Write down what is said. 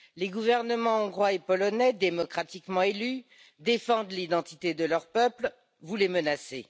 Les gouvernements hongrois et polonais, démocratiquement élus, défendent l'identité de leur peuple, vous les menacez.